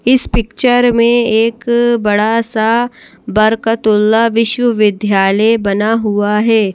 इस पिक्चर में एक बड़ा सा बरकतुल्लाह विश्वविद्यालय बना हुआ है।